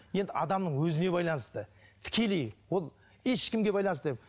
енді адамның өзіне байланысты тікелей ол ешкімге байланысты